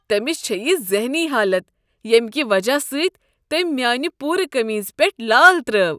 تٔمس چھےٚ یہ ذہنی حالت ییٚمہ کہ وجہ سۭتۍ تٔمۍ میٛانہ پوٗرٕ قمیضہ پیٹھ لال ترٲوو۔